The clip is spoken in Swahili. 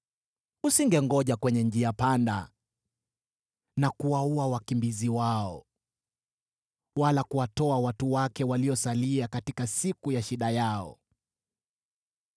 Usingengoja kwenye njia panda na kuwaua wakimbizi wao, wala kuwatoa watu wake waliosalia katika siku ya shida yao.